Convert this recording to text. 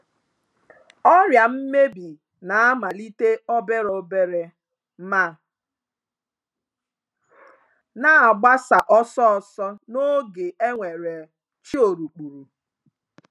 Ọrịa mmebi na-amalite obere obere ma na-agbasa ọsọ ọsọ n'oge e nwere chiorukpuru.